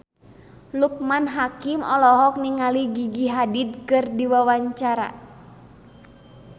Loekman Hakim olohok ningali Gigi Hadid keur diwawancara